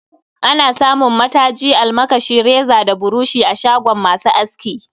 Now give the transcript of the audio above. Ana samun mataji, almakashi, reza da burushi a shagon masu aski